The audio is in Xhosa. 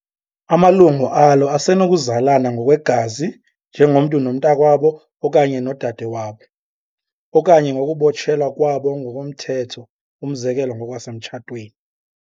Amalungu alo asenokuzalana ngokwegazi njengomntu nomnakwabo okanye nodade wabo, okanye ngokubotshelwa kwabo ngokomthetho, umzekelo ngokwasemtshatweni.